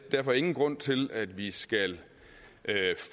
derfor ingen grund til at vi skal